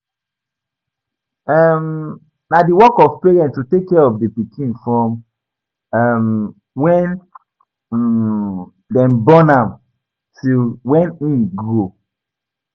um Na di work of parents to take care of di pikin from um when um dem born am till when im grow